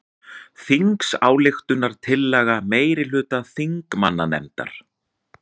Þingsályktunartillaga meirihluta þingmannanefndar